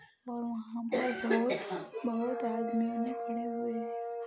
और वहाँ पर बोहोत बोहोत आदमी खड़े हुए है।